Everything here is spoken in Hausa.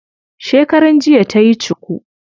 Shekaran jiya tayi cuku.